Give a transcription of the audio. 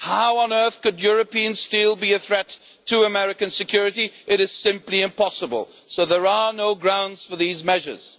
How on earth could European steel be a threat to American security? It is simply impossible, so there are no grounds for these measures.